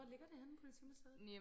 hvor ligger det henne politimuseet?